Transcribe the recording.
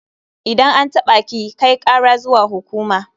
Idan an taɓa ki, kai kara zuwa hukuma.